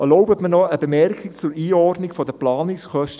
Erlauben Sie mir noch eine Bemerkung zur Einordnung der Planungskosten.